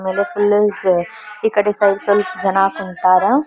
ಆಮೇಲೆ ಫುಲ್ಲು ಈ ಕಡೆ ಸ್ವಲ್ಪ ಸ್ವಲ್ಪ ಜನ ಕುಂತರ್.